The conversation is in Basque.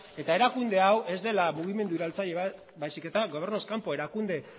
eta erakunde hau ez dela mugimendu iraultzaile bat baizik eta gobernuz kanpo erakunde